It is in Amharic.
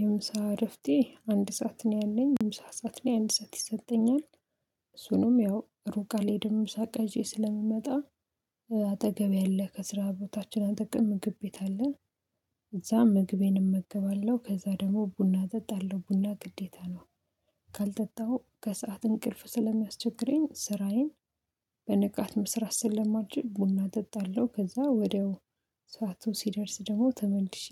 የምሳ እረፍቴ አንድ ሰዓት ነው ያለኝ የምሳ ሰዓት ነው አንድ ሰዓት ይሰጠኛል። እሱንም ያው ሩቅ አልሄድም ምሳ እቃ ይዤ ስለምመጣ አጠገብ ያለ ከስራ ቦታችን አጠገብ ምግብ ቤት አለ። እዛ ምግቤን እመገባለሁ ከዛ ደግሞ ቡና ጠጣለሁ ቡና ግዴታ ነው። ከሰአት እንቅልፍ ስለሚያስቸግረኝ ስራዬን በንቃት መስራት ስለማችል ቡና እጠጣለሁ። ከዛ ወዲያው ሰዓቱ ሲደርስ ደግሞ ተመልሼ